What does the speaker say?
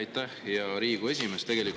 Aitäh, hea Riigikogu esimees!